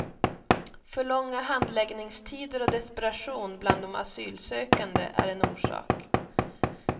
För långa handläggningstider och desperation bland de asylsökande är en orsak.